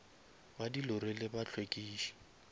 ba di lori le bahlwekiši